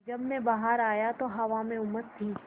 जब मैं बाहर आया तो हवा में उमस थी